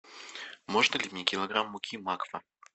можно ли мне килограмм муки макфа